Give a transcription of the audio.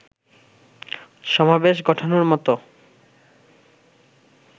সমাবেশ ঘটানোর মতো